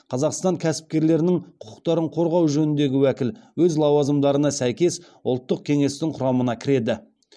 қазақстан кәсіпкерлерінің құқықтарын қорғау жөніндегі уәкіл өз лауазымдарына сәйкес ұлттық кеңестің құрамына кіреді